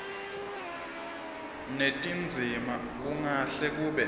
netindzima kungahle kube